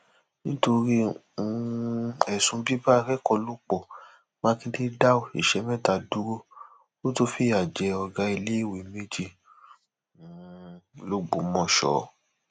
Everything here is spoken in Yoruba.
nítorí um ẹsùn bíbá akẹkọọ lò pọ mákindé dá òṣìṣẹ mẹta dúró ó tún fìyà jẹ ọgá iléèwé méjì um lọgbọmọso